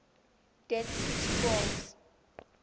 dead sea scrolls